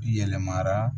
Yɛlɛmara